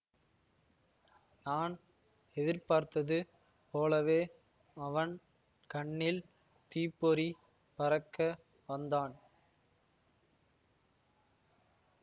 நான் எதிர்பார்த்தது போலவே அவன் கண்ணில் தீப்பொறி பறக்க வந்தான்